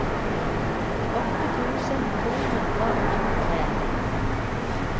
trettiåtte tusen to hundre og tjuetre